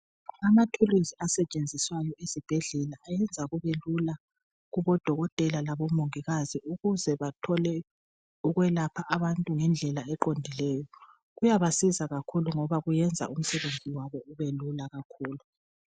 Amathuluzi asetshenziswayo ezibhedlela ayenza kubelula kubodokotela labomongikazi ukuze bathole ukwelapha abantu ngendlela eqondileyo kuyabasiza kakhulu ngoba kwenza umsebenzi wabo ubelula kakhulu.